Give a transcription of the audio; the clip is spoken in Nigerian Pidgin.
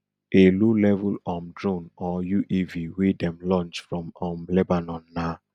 a lowlevel um drone or uav wey dem launch from um lebanon na